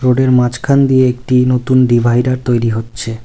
রোডের মাঝখান দিয়ে একটি নতুন ডিভাইডার তৈরি হচ্ছে।